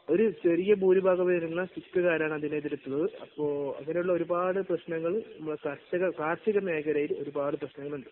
ഒരു ചെറിയ ഭൂരിഭാഗം വരുന്ന സിക്കുകാരാണ് അതിനെതിരെ, പോർ പോര് അങ്ങനുള്ള ഒരുപാട് പ്രശ്നങ്ങൾ കർഷക, കാർഷിക മേഖലയിൽ ഒരുപാട് പ്രശ്നങ്ങൾ ഉണ്ട്.